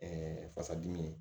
fasa dimi